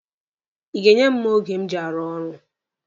Ị ga-enye m mma oge m ji arụ ọrụ?